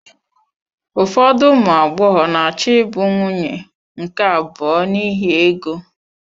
Ụfọdụ ụmụ agbọghọ na-achọ ịbụ nwunye nke abụọ n'ihi ego.